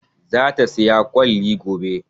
Za ta saya kwalli gobe